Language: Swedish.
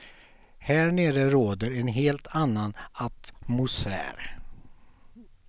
Här nere råder en helt annan atmosfär.